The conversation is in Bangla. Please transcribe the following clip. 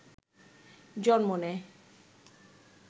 জন্ম নেয়